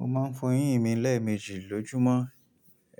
Mo máa ń fọ eyín mi lẹ́ẹ̀mejì lójúmọ́,